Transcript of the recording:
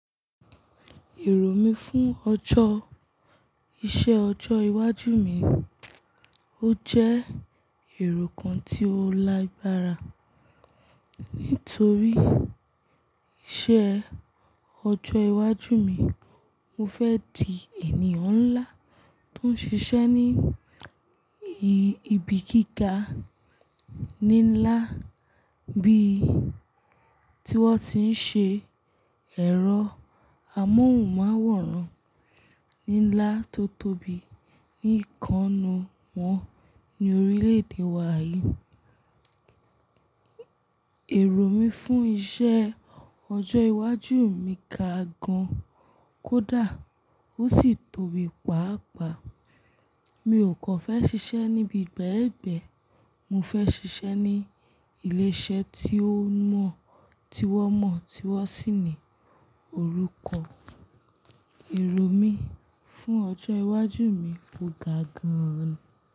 Èrò mí fún ọjọ́, iṣẹ́ ọjọ́ iwájú mi, ó jẹ́ èrò kan tí ó lágbára. Nítorí iṣẹ́ ọjọ́ iwájú mi, mo fẹ́ di ènìyàn ńlá tó ń ṣiṣẹ́ ní ibi gíga ní lá bí tí wọ́n ti ń ṣe ẹ̀rọ amóhùnmáwòrán ní ńlá tó tóbi ní ìkannu wọn ní orílẹ̀-èdè wa yí. Èrò mí fún iṣẹ́ ọjọ́ iwájú mi ga gan kódà ó sì tóbi pàápàá. Mi ò kọ́ fẹ́ ṣiṣẹ́ níbi gbẹ́ẹ̀gbẹ́. Mo fẹ́ ṣiṣẹ́ ní ilé-iṣẹ́ tí ó mọ́, tí wọ́n mọ̀, tí wọ́n sì ní orúkọ. Èrò mí fún ọjọ́ iwájú mi o ga gan.